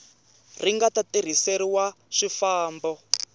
ri nga ta tirhiseriwa swifambo